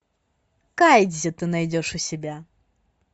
кайдзи ты найдешь у себя